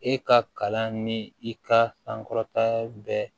E ka kalan ni i ka sankɔrɔta bɛɛ